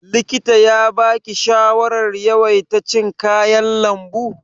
Likita ya baki shawarar yawaita cin kayan lambu?